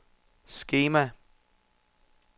skema